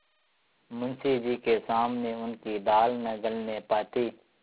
मुंशी जी के सामने उनकी दाल न गलने पाती